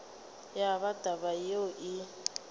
ya ba taba yeo e